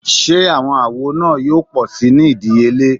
Ṣe awọn awo naa yoo pọ si ni idiyele?